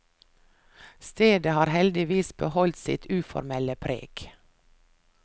Stedet har heldigvis beholdt sitt uformelle preg.